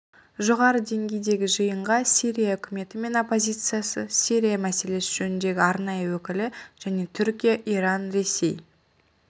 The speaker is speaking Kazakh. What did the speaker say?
жоғары деңгейдегі жиынға сирия үкіметі мен оппозициясы сирия мәселесі жөніндегі арнайы өкілі және түркия иран ресей